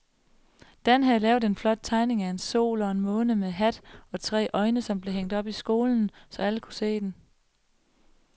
Dan havde lavet en flot tegning af en sol og en måne med hat og tre øjne, som blev hængt op i skolen, så alle kunne se den.